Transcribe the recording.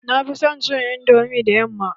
Na fi son cin indomi da yamma.